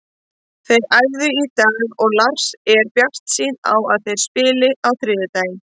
Þeir æfðu í dag og Lars er bjartsýnn á að þeir spili á þriðjudaginn.